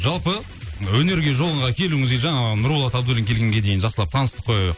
жалпы ы өнерге жолға келуіңізге жаңа нұрболат абдуллин келгенге дейін жақсылап таныстық қой